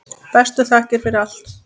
Bestu þakkir fyrir allt.